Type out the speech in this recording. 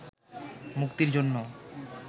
মুক্তির জন্য